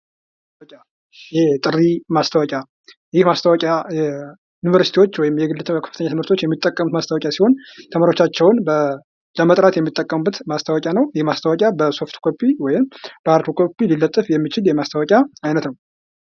የማስታወቂያ ዓላማ የሸማቾችን ትኩረት በመሳብ፣ የምርት ግንዛቤን በመፍጠርና በመጨረሻም ሽያጭን ማሳደግ ነው።